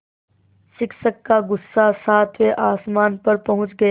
शिक्षक का गुस्सा सातवें आसमान पर पहुँच गया